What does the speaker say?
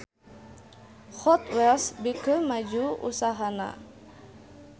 Hot Wheels beuki maju usahana